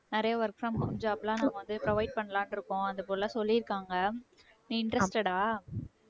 நிறைய work from home job லாம் நம்ம வந்து provide பண்ணலாம்ன்னு இருக்கோம் அந்த போல சொல்லியிருக்காங்க நீ interested ஆ